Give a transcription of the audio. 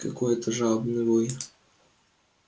какой это жалобный вой